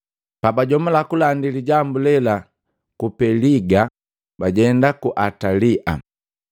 Pabajomula kulandi lijambu lela ku Peliga, bajenda ku Atalia.